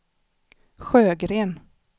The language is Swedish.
Sjögren